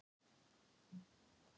Fer hann ekki beint á haugana?